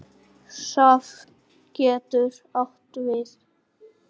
Safn getur átt við